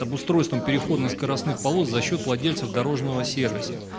обустройством переходно скоростных полос за счёт владельцев дорожного сервиса